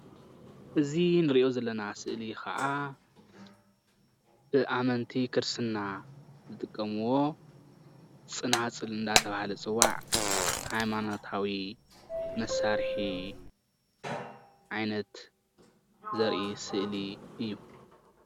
እዚ እንሪኦ ዘለና ስእሊ ክዓ ብኣመንቲ ክርስትና ዝጥቀምዎ ፅናፅል እናተባሃለ ዝፅዋዕ ሃይማኖታዊ መሳርሒ ዓይነት ዘርኢ ስእሊ እዩ፡፡